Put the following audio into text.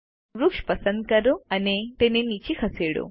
વૃક્ષ પસંદ કરો અને તેને નીચે ખસેડો